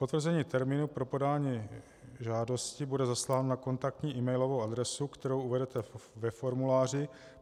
Potvrzení termínu pro podání žádosti bude zasláno na kontaktní emailovou adresu, kterou uvedete ve formuláři.